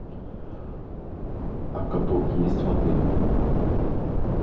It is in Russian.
а каток есть в отеле